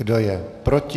Kdo je proti?